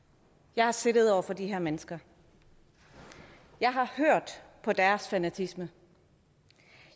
jeg har siddet over for de her mennesker jeg har hørt på deres fanatisme